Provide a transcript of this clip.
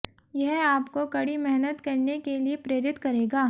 यह आपको कड़ी मेहनत करने के लिए प्रेरित करेगा